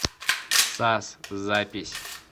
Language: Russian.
сас запись